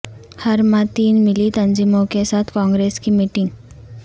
ہر ماہ تین ملی تنظیموں کے ساتھ کانگریس کی میٹنگ